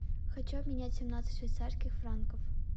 хочу обменять семнадцать швейцарских франков